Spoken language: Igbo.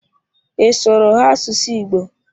Ị sụụrụ ha asụsụ Igbo?